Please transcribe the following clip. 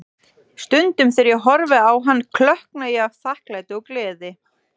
Stundum þegar ég horfi á hann, klökkna ég af þakklæti og gleði.